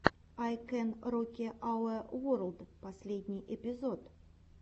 ай кэн роки ауэ ворлд последний эпизод